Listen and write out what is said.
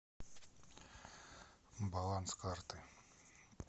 баланс карты